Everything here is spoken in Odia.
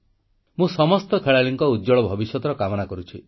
ମୁଁ ସମସ୍ତ ଖେଳାଳିଙ୍କ ଉଜ୍ଜ୍ୱଳ ଭବିଷ୍ୟତର କାମନା କରୁଛି